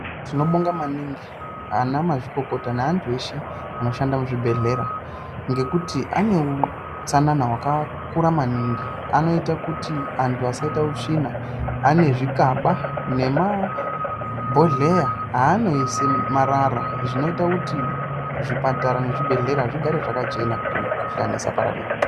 Tinobonga maningi ana mazvikokota neantu esheanoshanda muzvibhedhlera ngekuti ane utsanana hwakakura maningi anoita kuti anthu asaita utsvina ane zvikaba nemabhodheya aanoise marara zvinoita kuti zvipatara mezvibhehlera zvigare zvakachena kuti mikhuhlani isapararira.